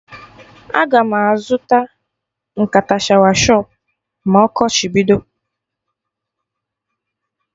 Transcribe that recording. Aga m azụta nkata shawa shọpụ ma ọkọchị bido